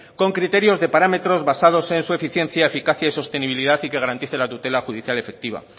con criterios de parámetros basados y en su eficiencia eficacia y sostenibilidad y que garantice la tutela judicial efectiva